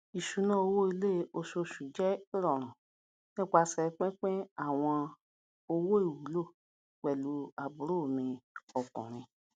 ìṣúná owó ilé oṣooṣu jẹ irọrun nípasẹ pínpín àwọn owó ìwúlò pẹlú àbúrò mi ọkùnrin